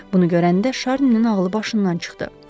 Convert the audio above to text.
Bunu görəndə Şarninin ağlı başından çıxdı.